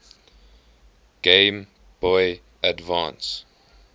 game boy advance